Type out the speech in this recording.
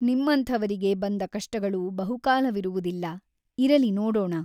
ನಿಮ್ಮಂಥವರಿಗೆ ಬಂದ ಕಷ್ಟಗಳು ಬಹುಕಾಲವಿರುವುದಿಲ್ಲ ಇರಲಿ ನೋಡೋಣ.